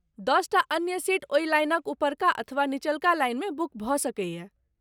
दसटा अन्य सीट ओही लाइनक उपरका अथवा निचलका लाइन मे बुक भऽ सकैए।